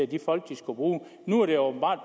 de folk de skulle bruge nu er det åbenbart